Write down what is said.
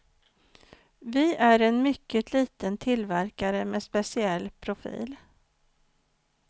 Vi är en mycket liten tillverkare med speciell profil.